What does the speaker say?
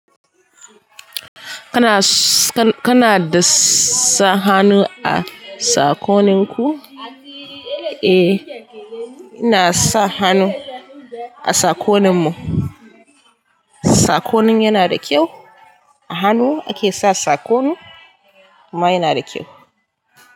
Kana, ka-kana da sa hannu a sakoninku? E, ina sa hannu a sakoninmu. Sakonin yana da kyau. A hannu ake sa sakon. Amma yana da kyau.